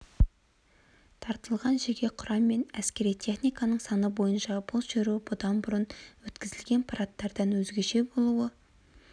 тартылған жеке құрам мен әскери техниканың саны бойынша бұл шеру бұдан бұрын өткізілген парадтардан өзгеше болуы